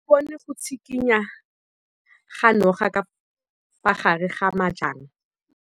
O bone go tshikinya ga noga ka fa gare ga majang.